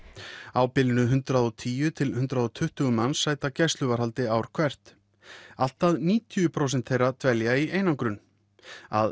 á bilinu hundrað og tíu til hundrað og tuttugu manns sæta gæsluvarðhaldi ár hvert allt að níutíu prósent þeirra dvelja í einangrun að